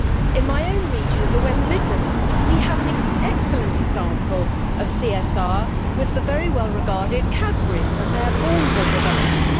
In my own region of the West Midlands we have an excellent example of CSR with the very well regarded Cadburys and their Bourneville development.